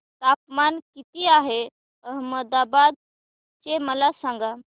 तापमान किती आहे अहमदाबाद चे मला सांगा